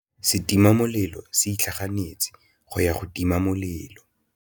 Setima molelô se itlhaganêtse go ya go tima molelô.